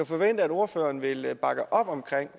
forvente at ordføreren vil bakke op om